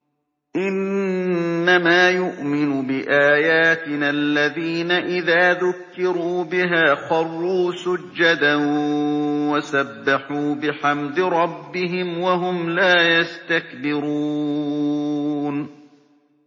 إِنَّمَا يُؤْمِنُ بِآيَاتِنَا الَّذِينَ إِذَا ذُكِّرُوا بِهَا خَرُّوا سُجَّدًا وَسَبَّحُوا بِحَمْدِ رَبِّهِمْ وَهُمْ لَا يَسْتَكْبِرُونَ ۩